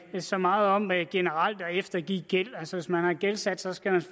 så meget om at eftergive gæld altså hvis man har gældsat sig skal man